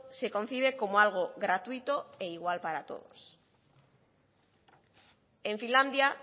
se concibe como algo gratuito e igual para todos en finlandia